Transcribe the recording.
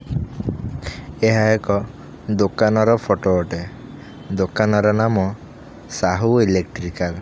ଷଏହା ଏକ ଦୋକାନର ଫଟୋ ଅଟେ ଦୋକାନର ନାମ ସାହୁ ଇଲେକ୍ଟ୍ରିକଲ ।